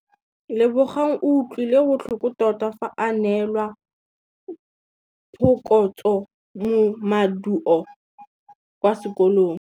Lebogang o utlwile botlhoko tota fa a neelwa phokotsômaduô kwa sekolong.